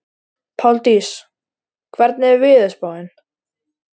Páldís, hvernig er veðurspáin?